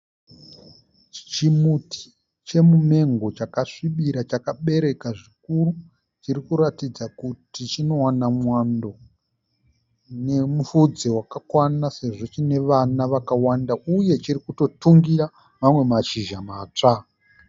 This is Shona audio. Chimuti chemumengo chakasvibira chakabereka zvikuru. Chirikuratidza kuti chinowana mwando nemupfudze wakakwana sezvo chiine vana vakawanda uye chirikutotungira mamwe mashizha matsva.